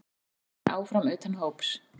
Eiður Smári áfram utan hóps